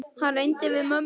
Hann reyndi við mömmu!